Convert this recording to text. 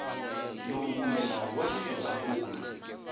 lowu kumbe nawu wa xifundzankulu